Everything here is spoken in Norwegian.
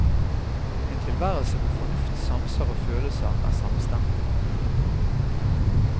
En tilværelse hvor fornuft, sanser og følelser er samstemte.